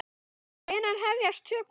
Hvenær hefjast tökur?